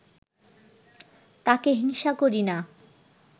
তাকে হিংসা করি না